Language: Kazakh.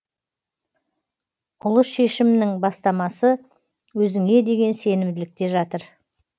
ұлы шешімнің бастамасы өзіңе деген сенімділікте жатыр